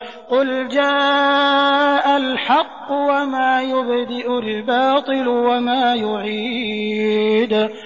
قُلْ جَاءَ الْحَقُّ وَمَا يُبْدِئُ الْبَاطِلُ وَمَا يُعِيدُ